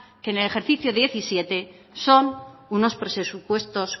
que el ejercicio diecisiete son unos presupuestos